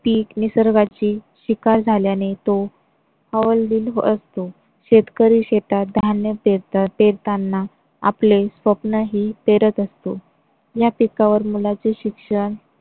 पीक निसर्गाची शिकार झाल्याने तो हवालदिल असतो. शेतकरी शेतात धान्य पेरतात पेरताना आपले स्वप्नही पेरत असतो. या पिकावर मुलांचे शिक्षण,